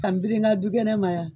ka n biri nka dugɛnɛ ma yan.